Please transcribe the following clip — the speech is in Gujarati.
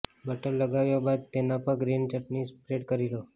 બટર લગાવ્યા બાદ તેના પર ગ્રીન ચટની સ્પ્રેડ કરી લો